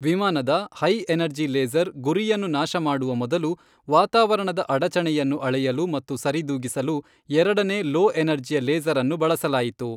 ವಿಮಾನದ high energy laser ಗುರಿಯನ್ನು ನಾಶಮಾಡುವ ಮೊದಲು ವಾತಾವರಣದ ಅಡಚಣೆಯನ್ನು ಅಳೆಯಲು ಮತ್ತು ಸರಿದೂಗಿಸಲು ಎರಡನೇ ಲೋ ಎನರ್ಜಿಯ ಲೇಸರ್ ಅನ್ನು ಬಳಸಲಾಯಿತು.